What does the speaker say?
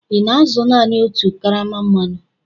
ị na-azụ naanị otu karama mmanụ?